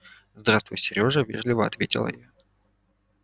здравствуй серёжа вежливо ответила я